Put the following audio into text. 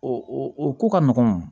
O o o ko ka nɔgɔn